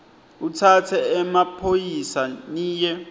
utsatse emaphoyisa niye